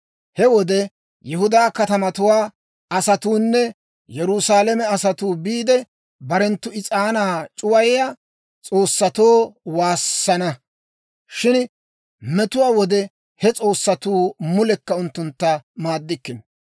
He wode Yihudaa katamatuwaa asatuunne Yerusaalame asatuu biide, barenttu is'aanaa c'uwayiyaa s'oossatoo waassana. Shin metuwaa wode he s'oossatuu mulekka unttunttu maaddikkino.